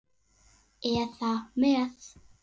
eða með